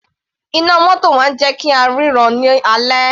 Iná mótò máa ń jẹ́ kí á ríran ní alẹ́.